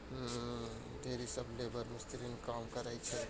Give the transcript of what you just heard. ढ़ेरी सब लेबर मिस्त्री ने कम करे छे।